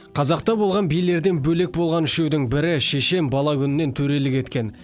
қазақта болған билерден бөлек болған үшеудің бірі шешен бала күнінен төрелік еткен